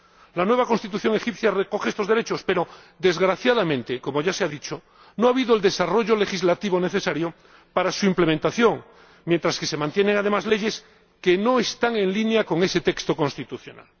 La nueva Constitución egipcia recoge estos derechos pero, desgraciadamente, como ya se ha dicho, no ha habido el desarrollo legislativo necesario para su implementación, mientras que se mantienen además leyes que no están el línea con ese texto constitucional.